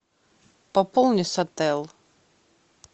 пополни сотел